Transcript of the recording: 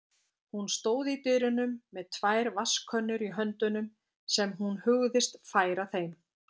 Hún stóð í dyrunum með tvær vatnskönnur í höndunum sem hún hugðist færa þeim.